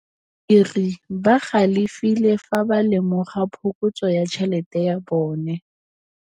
Badiri ba galefile fa ba lemoga phokotsô ya tšhelête ya bone.